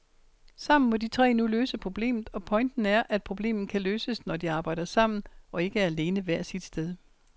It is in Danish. Sammen må de tre nu løse problemet, og pointen er, at problemet kan løses, når de arbejder sammen og ikke er alene hvert sit sted.